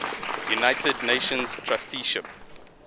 united nations trusteeship